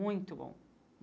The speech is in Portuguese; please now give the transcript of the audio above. Muito bom.